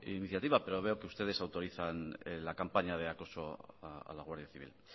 iniciativa pero veo que ustedes autorizan la campaña de acoso a la guardia civil